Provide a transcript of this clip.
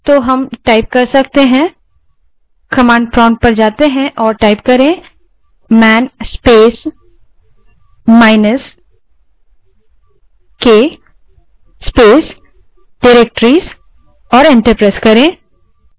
तो हम command prompt पर जा सकते हैं और man space minus k space directories type करें और enter दबायें